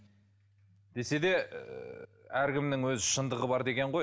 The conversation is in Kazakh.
десе де әркімнің өз шындығы бар деген ғой